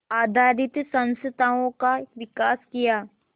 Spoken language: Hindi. आधारित संस्थाओं का विकास किया